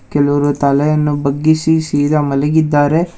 ಕೇಳುವ್ರ್ ತಲೆಯನ್ನು ಬಗ್ಗಿಸಿ ಸೀದಾ ಮಲಗಿದ್ದಾರೆ.